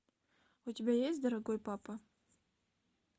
у тебя есть дорогой папа